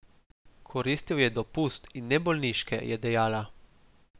Koristil je dopust, in ne bolniške, je dejala.